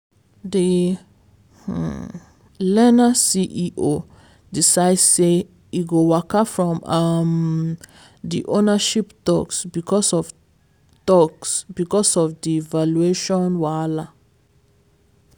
di um learner ceo decide say e go waka from um di ownership talks because of talks because of di valuation wahala.